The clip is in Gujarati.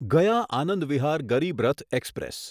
ગયા આનંદ વિહાર ગરીબ રથ એક્સપ્રેસ